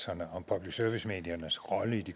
tak